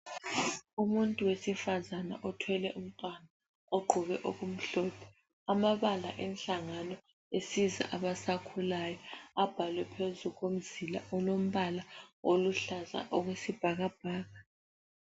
Umuntu wesifazane othwele umntwana, ogqoke okumhlophe. Amabala enhlangano esiza abasakhulayo abhalwe phezu komzila olombala oluhlaza okwesibhakabhaka.